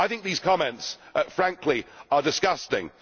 I think these comments, frankly, are disgusting.